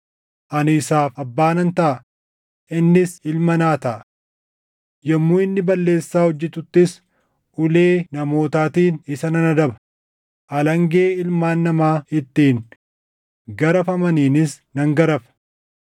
Ani isaaf abbaa nan taʼa; innis ilma naa taʼa. Yommuu inni balleessaa hojjetuttis ulee namootaatiin isa nan adaba; alangee ilmaan namaa ittiin garafamaniinis nan garafa.